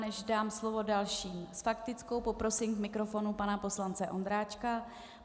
Než dám slovo dalším s faktickou, poprosím k mikrofonu pana poslance Ondráčka.